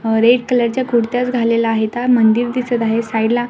अ red colour च्या कुर्त्या घालेल्या आहेता मंदिर दिसत आहे साइड ला --